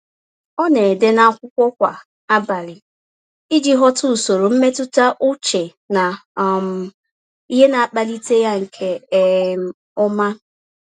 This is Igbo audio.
Ọ na-ede n'akwụkwọ kwa abalị iji ghọta usoro mmetụta uche na um ihe na-akpalite ya nke um ọma.